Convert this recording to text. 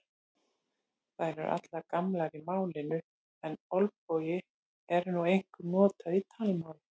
Þær eru allar gamlar í málinu en olbogi er nú einkum notað í talmáli.